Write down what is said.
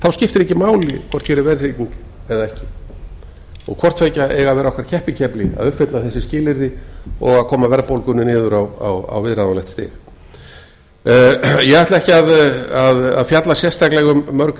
þá skiptir ekki máli hvort hér er verðtrygging eða ekki og hvorttveggja á að vera okkur keppikefli að uppfylla þessi skilyrði og koma verðbólgunni niður á viðráðanlegt stig ég ætla ekki að fjalla sérstaklega um mörg